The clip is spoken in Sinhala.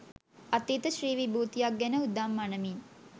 අතීත ශ්‍රී විභූතියක් ගැන උදම් අණමින්